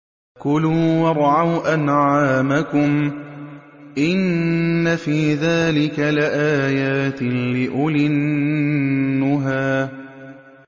كُلُوا وَارْعَوْا أَنْعَامَكُمْ ۗ إِنَّ فِي ذَٰلِكَ لَآيَاتٍ لِّأُولِي النُّهَىٰ